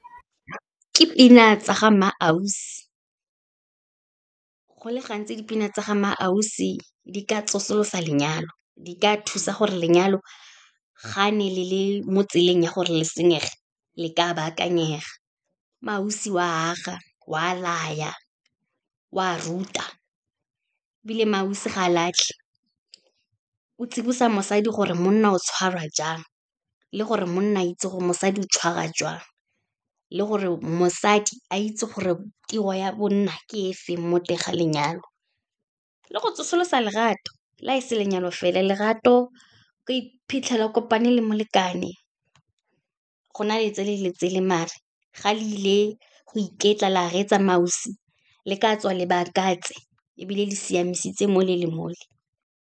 Ke pina tsa ga MmaAusi. Go le gantsi, dipina tsa ga MmaAusi di ka tsosolosa lenyalo, di ka thusa gore lenyalo ga ne le le mo tseleng ya gore le senyege, le ka bakanyega. MmaAusi, o a aga, o a laya, o a ruta, ebile MmaAusi ga latlhe, o tsibosa mosadi gore monna o tshwarwa jang, le gore monna a itse gore mosadi o tshwarwa jwang, le gore mosadi a itse gore tiro ya bonna ke e feng mo teng ga lenyalo, le go tsosolosa lerato, la e se lenyalo fela, lerato. Ka iphitlhela a kopane le molekane, go na le tsele le tsele, maar-e ga le ile go iketla, la reetsa MmaAusi le ka tswa le bakantse ebile le siamisitse mole le mole.